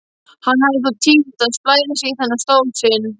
Hann hafði þó tímt að splæsa í þennan stól sinn.